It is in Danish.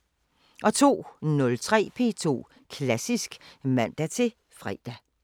02:03: P2 Klassisk (man-fre)